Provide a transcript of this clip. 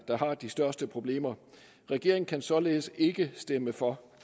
der har de største problemer regeringen kan således ikke stemme for